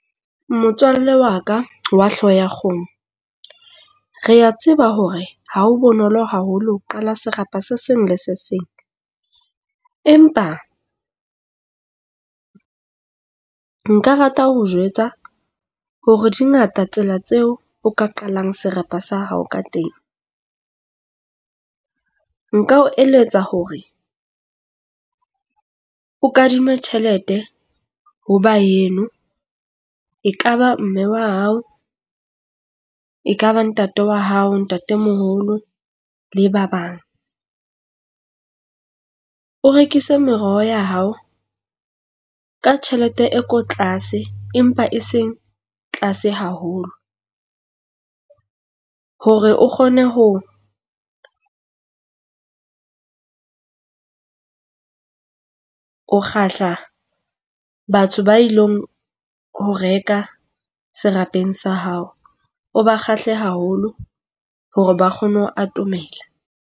Motswalle wa ka wa hlooho ya kgomo, re a tseba hore ha o bonolo haholo ho qala sekgahla se seng le se seng. Empa nka rata ho o jwetsa hore di ngata tsela tseo o ka qalang serapa sa hao ka teng. Nka o eletsa hore o kadime tjhelete ho ba heno, ekaba mme wa hao, ekaba ntate wa hao, ntatemoholo le ba bang. O rekise meroho ya hao ka tjhelete e ko tlase empa e seng tlase haholo. Hore o kgone ho o kgahla batho ba ilong ho reka serapeng sa hao. O ba kgahle haholo hore ba kgone ho atomela.